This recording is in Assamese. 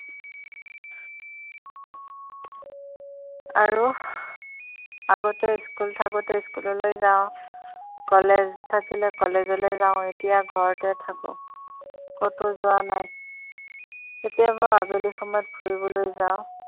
আৰু আগতে school থাকোতে school যাওঁ college থাকিলে college যাওঁ এতিয়া ঘৰতে থাকোঁ কতো যোৱা নাই কেতিয়াবা আবেলি সময়ত ফুৰিবলৈ যাওঁ